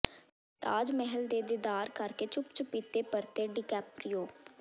ਤਾਜ ਮਹੱਲ ਦੇ ਦੀਦਾਰ ਕਰਕੇ ਚੁੱਪ ਚਪੀਤੇ ਪਰਤੇ ਡੀਕੈਪਰੀਓ